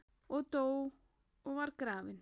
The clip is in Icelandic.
og dó og var grafinn